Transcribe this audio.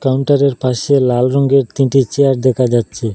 কাউন্টারের পাশে লাল রঙের তিনটি চেয়ার দেখা যাচ্ছে।